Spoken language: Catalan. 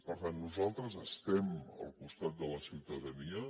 per tant nosaltres estem al costat de la ciutadania